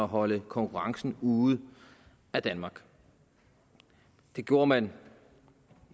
holde konkurrencen ude af danmark det gjorde man